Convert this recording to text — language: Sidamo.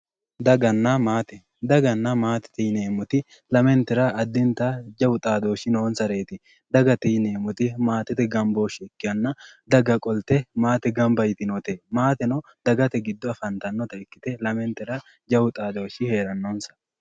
Daganna maatete yineemmoti lamentera addittanni jawu xaadoshi noonsareti dagate yineemmoti maatete gamboshshe ikkanna daga qolte maate gamba yitinote maateno dagate giddo afattanotta ikkite lamentera jawu xaadoshshi heeranose.